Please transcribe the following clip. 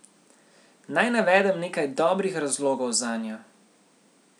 Naj navedem nekaj dobrih razlogov zanjo.